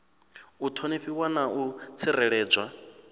u ṱhonifhiwa na u tsireledzwa